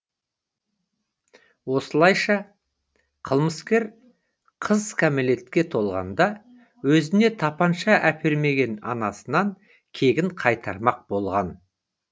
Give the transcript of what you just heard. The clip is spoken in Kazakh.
осылайша қылмыскер қыз кәмелетке толғанда өзіне тапанша әпермеген анасынан кегін қайтармақ болған